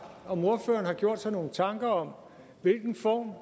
om ordføreren har gjort sig nogle tanker om hvilken form